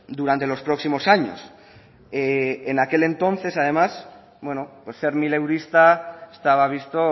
durante los próximos años en aquel entonces además bueno ser mileurista estaba visto